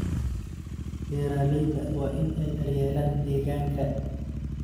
Beeralayda waa in ay daryeelaan deegaanka.